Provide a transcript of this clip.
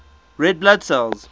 red blood cells